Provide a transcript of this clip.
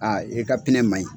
Aa e ka ma ɲi.